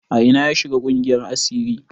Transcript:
A ina ya shiga ƙungiyar asiri?